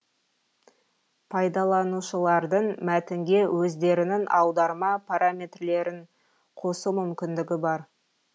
пайдаланушылардың мәтінге өздерінің аударма параметрлерін қосу мүмкіндігі бар